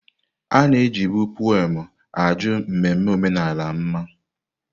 Ana-eji bụ pụem ajọ mmemme omenala mma.